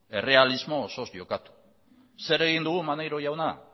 errealismo osoz jokatu zer egin dugu maneiro jauna